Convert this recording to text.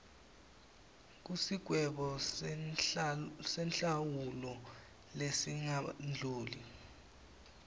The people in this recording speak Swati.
kusigwebo senhlawulo lesingadluli